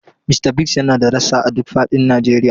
Mista Biggs yana da rassa a duk fadin Najeriya.